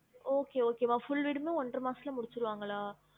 Okay okay மா full வீடுமே ஒன்றை மாசத்துல முடிச்சிருவாங்களா